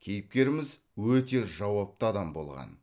кейіпкеріміз өте жауапты адам болған